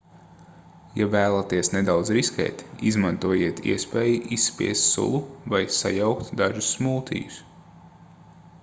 ja vēlaties nedaudz riskēt izmantojiet iespēju izspiest sulu vai sajaukt dažus smūtijus